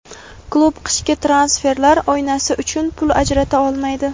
klub qishki transferlar oynasi uchun pul ajrata olmaydi.